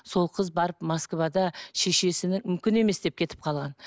сол қыз барып москвада мүмкін емес деп кетіп қалған